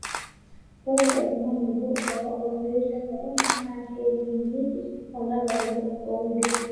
Ore oltungani obo owa olmeitai le korona naa keyeng'iyeng'ieki olapa le oudo.